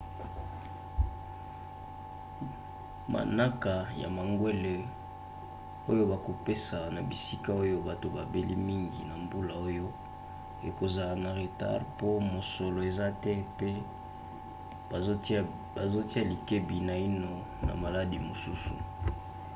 manaka ya mangwele oyo bakopesa na bisika oyo bato babeli mingi na mbula oyo ekozala na retard po mosolo eza te pe bazotia likebi naino na maladi misusu